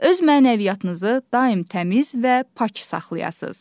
Öz mənəviyyatınızı daim təmiz və pak saxlayasız.